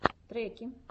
треки